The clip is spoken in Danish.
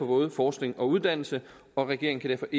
både forskning og uddannelse og regeringen kan